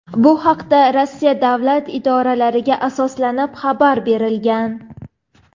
Bu haqda Rossiya davlat idoralariga asoslanib xabar berilgan.